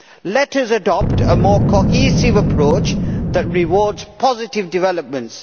Let us adopt a more cohesive approach that rewards positive developments.